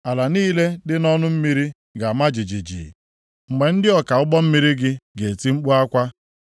Ala niile dị nʼọnụ mmiri ga-ama jijiji mgbe ndị ọka ụgbọ mmiri gị ga-eti mkpu akwa.